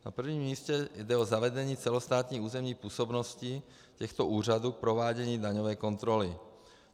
Na prvním místě jde o zavedení celostátní územní působnosti těchto úřadů k provádění daňové kontroly.